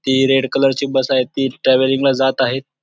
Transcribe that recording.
ती red colour ची bus आहे ती ट्रॅव्हलिंग ला जात आहे.